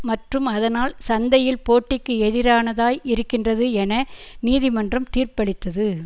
மற்றும் அதனால் சந்தையில் போட்டிக்கு எதிரானதாய் இருக்கின்றது என நீதிமன்றம் தீர்ப்பளித்தது